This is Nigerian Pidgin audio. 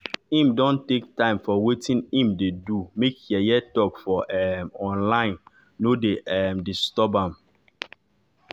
im don take time for wetin im dey do make yeye talk for um online nor dey um disturb am